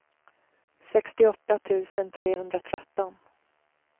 sextioåtta tusen trehundratretton